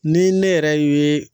Ni ne yɛrɛ ye